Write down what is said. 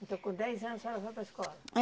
Então com dez anos a senhora foi para a escola?